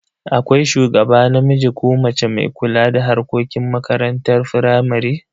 Akwai shugaba namiji ko mace mai kula da harkokin makarantar firamare.